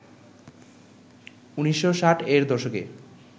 ১৯৬০-এর দশকে